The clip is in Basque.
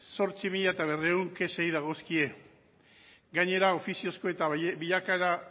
zortzi mila berrehun kexei dagozkie gainera ofiziozko eta bilakaera